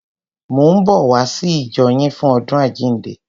Mò ń bọ̀ wá sí ìjọ yín fún àjíǹde.